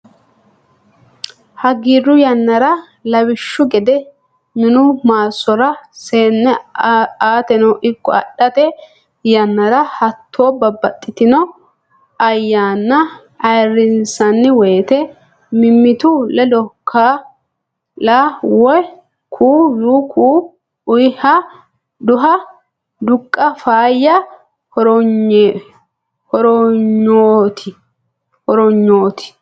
Hagiiru yannara lawishshu gede minu maassora seenne aateno ikko adhate yannara hattono babbaxxitino ayyaanna ayirrinsanni woyte mimmitu ledo kaa lama woy ku u ku unniha duha duqqa faayya hornyooti.